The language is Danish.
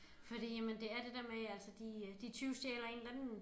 Fordi jamen det er det der med altså de øh de tyvstjæler en eller anden